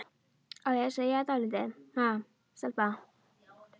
Á ég að segja þér dálítið, ha, stelpa?